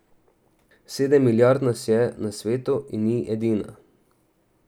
Sedem milijard nas je na svetu in ni edina.